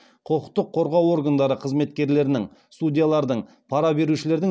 құқықтық қорғау органдары қызметкерлерінің судьялардың пара берушілердің